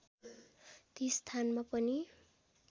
ती स्थानमा पनि